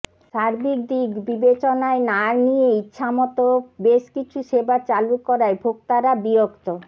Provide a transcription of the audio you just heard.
সার্বিক দিক বিবেচনায় না নিয়ে ইচ্ছামতো বেশ কিছু সেবা চালু করায় ভোক্তারা বিরক্ত